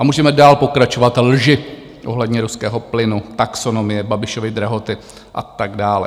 A můžeme dál pokračovat - lži ohledně ruského plynu, taxonomie, Babišovy drahoty a tak dále.